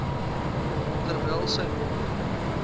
terwyl sy mond